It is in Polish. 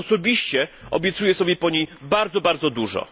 Osobiście obiecuję sobie po niej bardzo, bardzo dużo.